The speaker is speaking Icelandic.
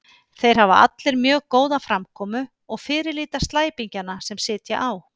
Þeir hafa allir mjög góða framkomu og fyrirlíta slæpingjana sem sitja á